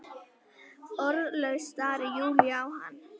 Orðlaus starir Júlía á hana.